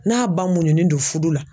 N'a ba muɲunen don fudu la.